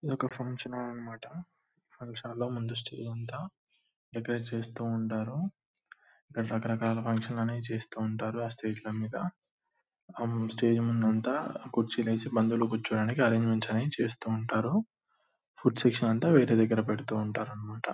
ఇక్కడ function hall అన్నమాట . Function hall లో ముందు స్టేజ్ అంతా డెకరేట్ చేస్తూ ఉంటారు. అక్కడ రకరకాల ఫంక్షన్ లనేవి చేస్తూ ఉంటారు. ఆ స్టేజ్ ల మీద. ఆ స్టేజ్ ముందు అంతా కుర్చీలేసి బంధువులు కూర్చోడానికి అరేంజ్మెంట్స్ అనేవి చేస్తూ ఉంటారు. ఫుడ్ సెక్షన్ అంతా వేరే దగ్గర పెడుతూ ఉంటారన్నమాట.